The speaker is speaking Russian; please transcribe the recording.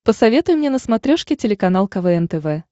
посоветуй мне на смотрешке телеканал квн тв